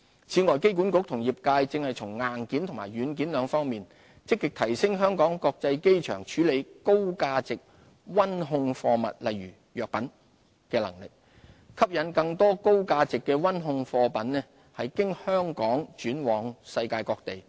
此外，機管局與業界現正從硬件及軟件兩方面積極提升香港國際機場處理高價值溫控貨物的能力，吸引更多高價值的溫控貨物經香港轉運往世界各地。